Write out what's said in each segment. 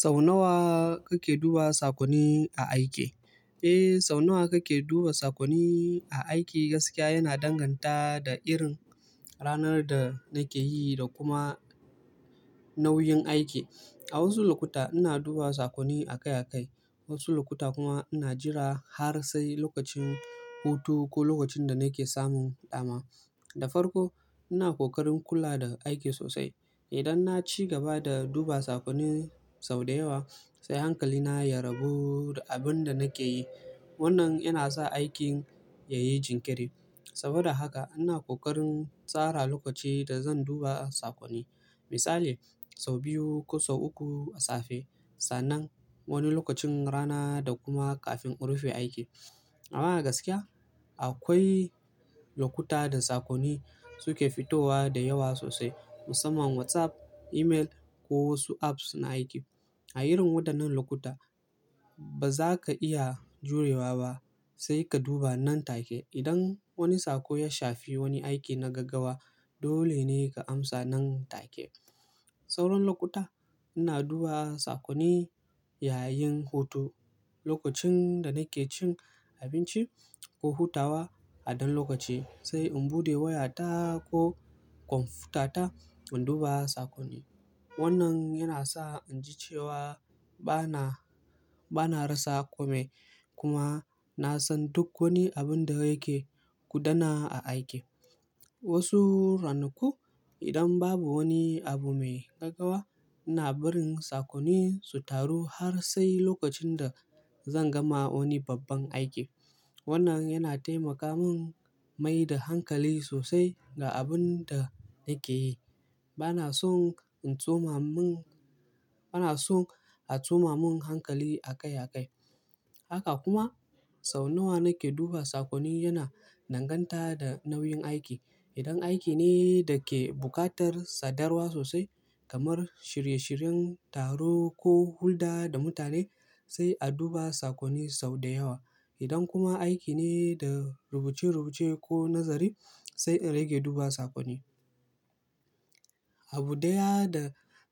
Sau nawa kake duba sakonni aiki? Eh, sau nawa kake duba sakonni a aiki gaskiya yana danganta da irin ranar da nake yi da kuma nauyin aiki. A wasu lokuta ina duba sakonni a kai a kai, wasu lokuta kuma ina jira har sai lokacin hutu ko lokacin da nake samun dama. Da farko ina kokarin kula da aiki sosai. Idan na ci gaba da duba sakonni sau da yawa sai hankalina ya rabu da abin da nake yi. Wannan yana sa aikin yayi jinkiri. Saboda haka ina kokarin tsara lokaci da zan duba sakonni. Misali sau biyu ko sau uku a safe, sannan wani lokacin rana da kuma kafin in rufe aiki. Amma gaskiya akwai lokuta da sakonni suke fitowa da yawa sosai musamman WhatsApp, email ko wasu apps na aiki. A irin waɗannan lokuta ba za ka iya jurewa ba sai ka duba nan take. Idan wani sako ya shafi wani aiki na gaggaawa dole ne ka amsa nan take. Sauran lokuta ina duba sakonni yayin hutu, lokacin da nake cin abinci ko hutawa a dan lokaci sai in bude wayata ko kwamfutata in duba sakonni. Wannan yana sa in ji cewa bana, bana rasa kome kuma na san duk wani abin da yake gudana a aiki. Wasu ranaku idan babu wani abu mai gaggawa ina barin sakonni su taru har sai lokacin da zan gama wani babban aiki. Wannan yana taimaka mun maida hankali sosai ga abin da nake yi. Bana son in tsoma mun, bana son a tsoma mun hankali a kai a kai. Haka kuma sau nawa nake duba sakonni yana danganta da nauyin aiki. Idan aiki ne da ke buƙatar sadarwa sosai kamar shirye-shiryen taro ko hulɗa da mutane sai a duba sakonni sau da yawa. Idan kuma aiki ne da rubuce-rubuce ko nazari sai in rage duba sakonni. Abu ɗaya da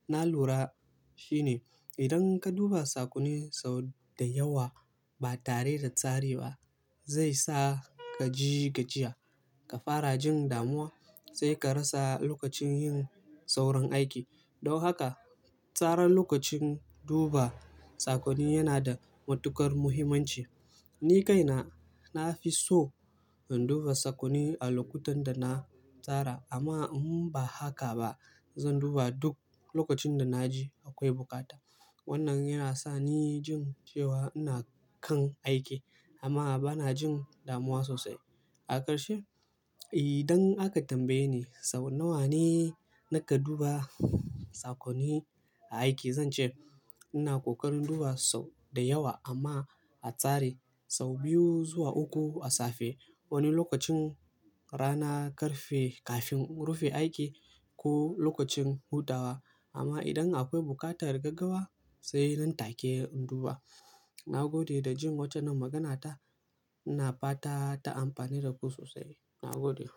na lura shine idan ka duba sakonni sau da yawa ba tare da tsari ba zai sa ka ji gajiya, ka fara jin damuwa sai ka rasa lokacin yin sauran aiki. Don haka tsara lokacin duba sakonni yana da matuƙar muhimmanci. Ni kaina na fi so in duba sakonni a lokutan da na tsara amma in ba haka ba zan duba duk lokacin da na ji akwai bukata. Wannan yana sa ni jin cewa ina kan aiki amma bana jin damuwa sosai. A ƙarshe, idan aka tambaye ni sau nawa ne nake duba sakonni aiki zan ce ina kokarin duba sau da yawa amma a tsari. Sau biyu zuwa uku a safe, wani lokacin rana ƙarfe kafin in rufe aiki ko lokacin hutawa. Amma idan akwai buƙatar gaggawa sai nan take in duba. Na gode da jin wace magana ta, ina fata ta amfane da ku sosai. Na gode.